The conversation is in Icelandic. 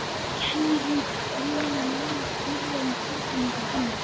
Kenni líka blygðunar nálægt dýrslegum tilfinningum hennar.